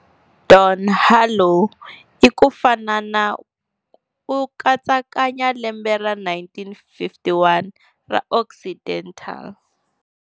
Don Harlow hi ku fanana u katsakanya lembe ra 1951 ra Occidental-